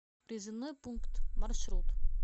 призывной пункт маршрут